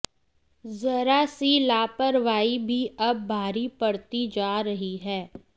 जरा सी लापरवाही भी अब भारी पड़ती जा रही है